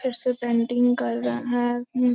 फिर से पेंटिंग कर रहे हैं हूं --